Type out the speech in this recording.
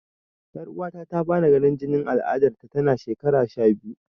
Yar'uwata ta fara ganin jinin aladar tana shekara sha biyu.